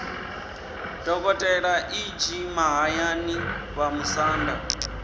dokotela e g mahayani vhamusanda